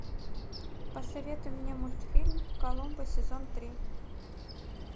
посоветуй мне мультфильм коломбо сезон три